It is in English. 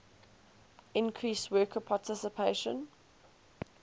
increase worker participation